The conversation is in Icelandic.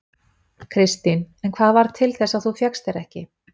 Kristín: En hvað varð til þess að þú fékkst þér ekki?